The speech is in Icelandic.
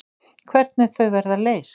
Hvernig þau verða leyst.